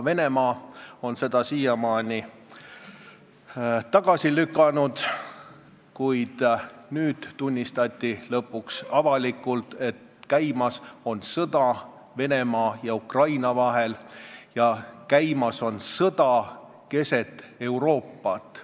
Venemaa on seda siiamaani tagasi lükanud, kuid nüüd tunnistati lõpuks avalikult, et käimas on sõda Venemaa ja Ukraina vahel, käimas on sõda keset Euroopat.